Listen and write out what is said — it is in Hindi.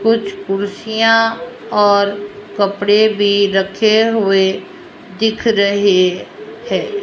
कुछ कुर्सियां और कपड़े भी रखे हुए दिख रहे हैं।